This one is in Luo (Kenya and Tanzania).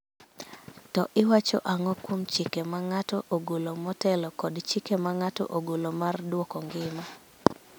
To iwacho ang�o kuom chike ma ng�ato ogolo motelo kod chike ma ng�ato ogolo mar dwoko ngima